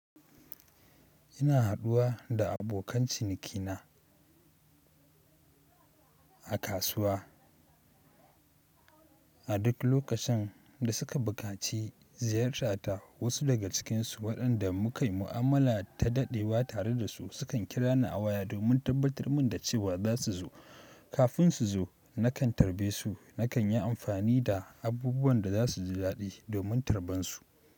Ina haduwa da abokan cinikina a kasuwa. A duk lokacin da suka bukaci ziyarata, wasu daga cikinsu waɗanda muka yi mu'amala ta daɗewa tare da su, sukan kira ni a waya domin tabbatar min da cewa za su zo. Kafin su zo, nakan tarbe su, nakan yi amfani da abubuwan da za su ji daɗi domin tarban su.